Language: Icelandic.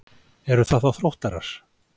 Eru það þá Þróttarar?